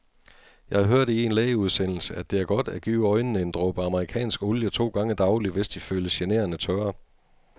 Jeg hørte i en lægeudsendelse, at det er godt at give øjnene en dråbe amerikansk olie to gange daglig, hvis de føles generende tørre.